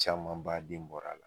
Caman ba den bɔr'a la